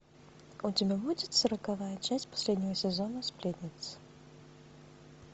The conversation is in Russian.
у тебя будет сороковая часть последнего сезона сплетницы